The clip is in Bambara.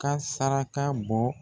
Ka saraka bɔ